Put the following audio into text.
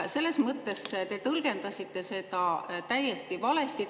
Selles mõttes te tõlgendasite seda täiesti valesti.